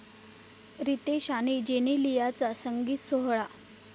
रितेश आणि जेनेलियाचा संगीत सोहळा